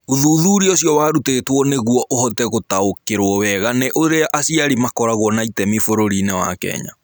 Ũthuthuria ũcio warutĩtwo nĩguo ũhote gũtaũkĩrũo wega nĩ ũrĩa aciari makoragwo na itemi bũrũri-inĩ wa Kenya.